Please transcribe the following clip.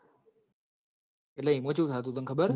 ઈમો ચેવું થાતું તન ખબર હ